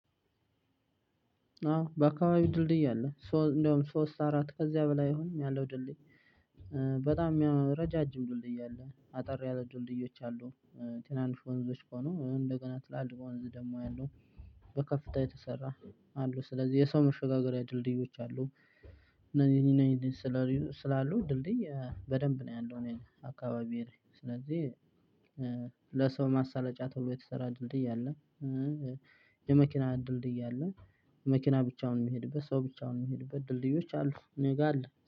አዎ በአካባቢው ድልድይ አለ እንደውም ሶስት አራት ከዚያ በላይ አሁንም አለው ድልድይ በጣም ረጃጅም ድልድይ አሉ አጠር ያለ ድልድዮች አሉ። ትናንሽ ወንዞች ከሆኑ ወይም እንደገና ትላልቅ ወንዝ ደግሞ ያለው በከፍታ የተሰራ አሉ። ስለዚህ የሰው መሸጋገሪያ ድልድዮች አሉ። እነዚህ እኔ ስላሉ ድልድይ በደንብ ነው ያለው እኔ አካባቢ። ስለዚህ ለሰው ማሳለጫ ተብሎ የተሰራ ድልድይ አለ። የመኪና ድልድይ አለ። መኪና ብቻውን ሚሄድበት ሰው ብቻውን ሚሄድበት ድልድዮች አሉ። እኔ ጋ አለ